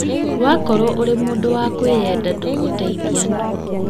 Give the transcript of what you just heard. Wakorwo ũrĩ mũndũ wa kwĩyenda ndũgũteithia andũ